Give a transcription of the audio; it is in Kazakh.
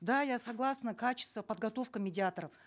да я согласна качество подготовки медиаторов